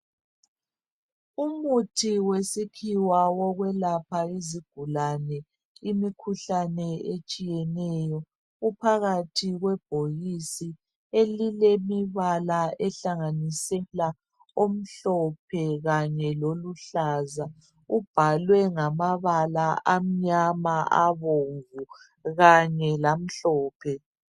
Umuthi wesikhiwa wokwelapha izigulane imikhuhlane etshiyeneyo uphakathi kwebhokisi elilemibala ehlanganisela omhlophe kanye loluhlaza kubhalwe ngamabala amnyama, abomvu kanye lamhlophe.